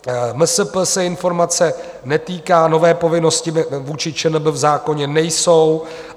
MSP se informace netýká, nové povinnosti vůči ČNB v zákoně nejsou.